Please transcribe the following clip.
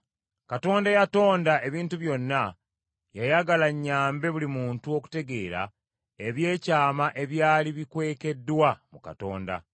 Katonda eyatonda ebintu byonna yayagala nnyambe buli muntu okutegeera ebyekyama ebyali bikwekeddwa mu Katonda.